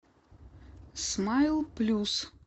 смайл плюс